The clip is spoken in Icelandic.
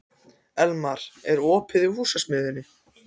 Elmar, er opið í Húsasmiðjunni?